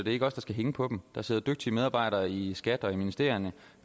ikke os der skal hænge på dem der sidder dygtige medarbejdere i skat og i ministerierne